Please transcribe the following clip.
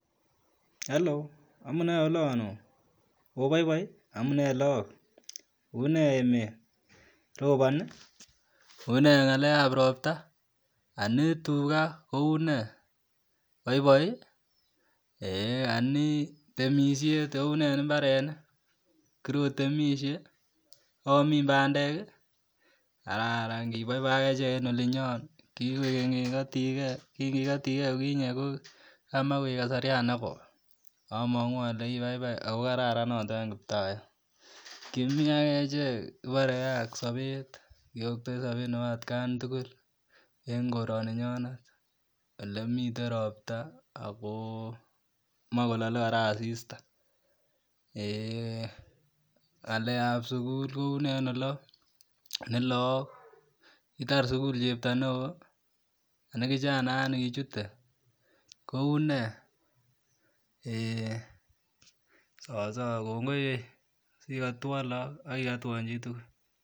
ello amune olon ooh opoipoi amunee laook unee emet roboni unee ngalekab ropta ani tuga kounee boiboi ani temishet ounee en mbarenik korotemishe oomin bandeki kararan kiboiboi akechek en olinyon kikoikeny kikotige kinkikotige yukinye kimach koik kasarian nekoi amongu ole ipaipai ako kararan notok en kiptayat kimi akechek kiborekee ak sobet kiyoktoi sobet nepo atakn tugul en koroniyon ele miten ropta ako moekolole kora asista ngalekap sugul kounee en olon kitar sugul cheptoo neoo ani kichanayat nikichute kounee ee soso kongoi sikotwon look akikotwon chitugul